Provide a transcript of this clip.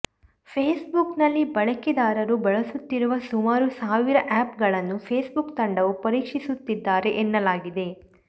ಫೇಸ್ಬುಕ್ನಲ್ಲಿ ಬಳಕೆದಾರು ಬಳಸುತ್ತಿರುವ ಸುಮಾರು ಸಾವಿರ ಆಪ್ ಗಳನ್ನು ಫೇಸ್ಬುಕ್ ತಂಡವು ಪರೀಕ್ಷಿಸುತ್ತಿದ್ದಾರೆ ಎನ್ನಲಾಗಿದೆ